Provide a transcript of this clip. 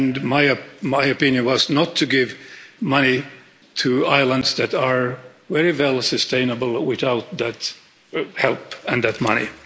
My opinion was not to give money to islands that are very well sustainable without that help and that money.